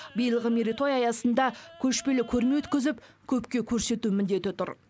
биылғы мерейтой аясында көшпелі көрме өткізіп көпке көрсету міндеті тұр